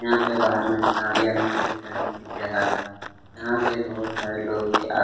यहाँ पे बाहर में गाड़ियाँ भी खड़ी करने की भी जगह है यहाँ पे बहुत सारे लोग भी आते--